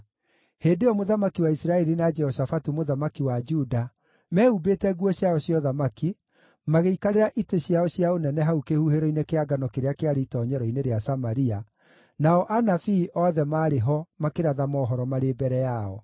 Hĩndĩ ĩyo mũthamaki wa Isiraeli na Jehoshafatu mũthamaki wa Juda, mehumbĩte nguo ciao cia ũthamaki, magĩikarĩra itĩ ciao cia ũnene hau kĩhuhĩro-inĩ kĩa ngano kĩrĩa kĩarĩ itoonyero-inĩ rĩa Samaria, nao anabii othe maarĩ ho makĩratha mohoro marĩ mbere yao.